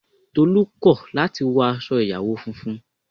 Tolu kò láti wọ aṣọ ìyàwó funfun